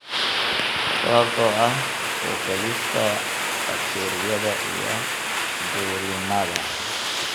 sababtoo ah soo-gaadhista bakteeriyada iyo dulinnada.